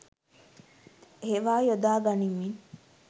ඒවා යොදා ගනිමින්